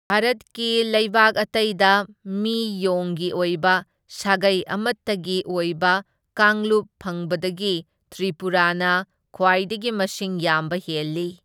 ꯚꯥꯔꯠꯀꯤ ꯂꯩꯕꯥꯛ ꯑꯇꯩꯗ ꯃꯤ ꯌꯣꯡꯒꯤ ꯑꯣꯏꯕ ꯁꯥꯒꯩ ꯑꯃꯇꯒꯤ ꯑꯣꯏꯕ ꯀꯥꯡꯂꯨꯞ ꯐꯪꯕꯗꯒꯤ ꯇ꯭ꯔꯤꯄꯨꯔꯥꯅ ꯈ꯭ꯋꯥꯢꯗꯒꯤ ꯃꯁꯤꯡ ꯌꯥꯝꯕ ꯍꯦꯜꯂꯤ꯫